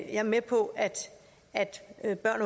er med på at der